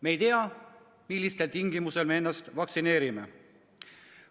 Me ei tea, millistel tingimustel me ennast vaktsineerime.